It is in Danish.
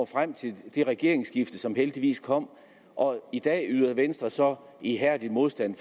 frem til det regeringsskifte som heldigvis kom og i dag yder venstre så ihærdig modstand